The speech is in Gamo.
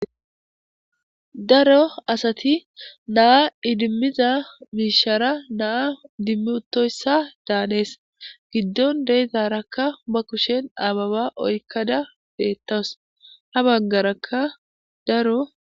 Daro asati naa idimmiza miishara naa idimmtoyssa daanees giddon deezaarakka ba kushen ababa oykkada beettows ha baggarakka daro